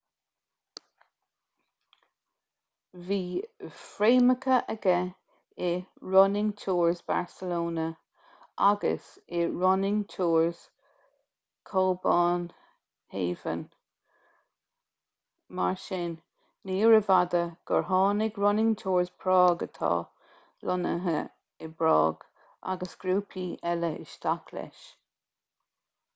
bhí fréamhacha aige i running tours barcelona agus i running tours cóbanhávan mar sin níorbh fhada gur tháinig running tours prág atá lonnaithe i bprág agus grúpaí eile isteach leis